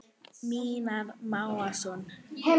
Mímir Másson.